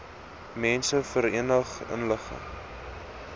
mense verenig ingelig